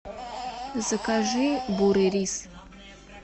закажи бурый рис